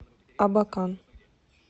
абакан